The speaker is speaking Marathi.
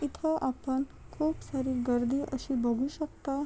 इथे आपण खुप सारी गर्दी अशी बघू शकता.